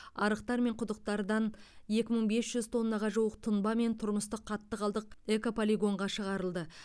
арықтар мен құдықтардан екі мың бес жүз тоннаға жуық тұнба мен тұрмыстық қатты қалдық экополигонға шығарылды